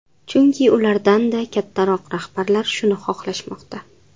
Chunki ulardan-da kattaroq rahbarlar shuni xohlashmoqda.